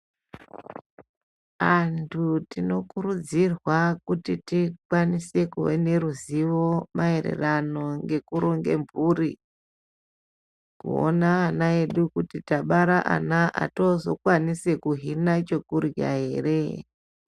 Antu tino kurudzirwa kuti tikwanise kuve neruzivo maererano ngekuronge mhuri. Kuona ana edu kuti tabara ana ato zokwanise kuhina chokurya ere.